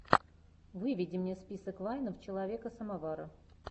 выведи мне список вайнов человека самовара